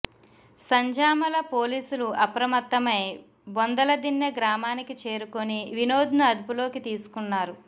సంజామల పోలీసులు అప్రమత్తమై బొందలదిన్నె గ్రామానికి చేరుకుని వినోద్ను అదుపులోకి తీసుకున్నారు